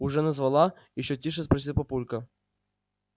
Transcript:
уже назвала ещё тише спросил папулька